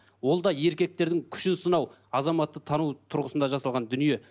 ол да еркектердің күшін сынау азаматты тану тұрғысында жасалған дүние